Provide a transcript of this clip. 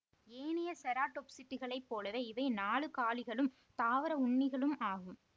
ஏனைய செராடொப்சிட்டுகளைப் போலவே இவை நாலுகாலிகளும் தாவர உண்ணிகளும் ஆகும்